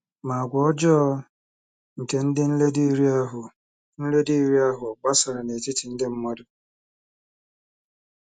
Ma àgwà ọjọọ nke ndị nledo iri ahụ nledo iri ahụ gbasara n’etiti ndị mmadụ.